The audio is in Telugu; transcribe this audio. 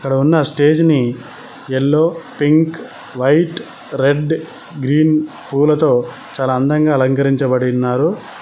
అక్కడ ఉన్న స్టేజ్ ని yellow pink white red green పూలతో చాలా అందంగా అలంకరించబడి ఉన్నారు.